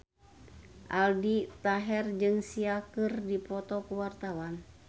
Aldi Taher jeung Sia keur dipoto ku wartawan